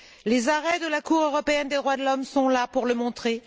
Les arrêts de la Cour européenne des droits de l'homme sont là pour le montrer.